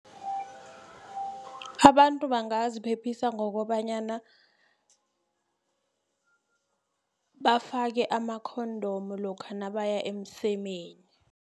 Abantu bangaziphephisa ngokobanyana bafake ama-condom lokha nabaya emsemeni.